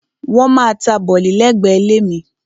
Wọ́n maá ta bọ̀lì lẹ́gbẹ̀ẹ́ ilé mi.